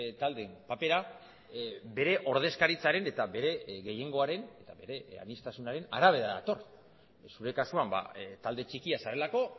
taldeen papera bere ordezkaritzaren eta bere gehiengoaren eta bere aniztasunaren arabera dator zure kasuan talde txikia zarelako